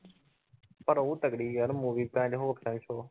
ਪਰ ਉਹ ਤਕੜੀ ਯਾਰ movie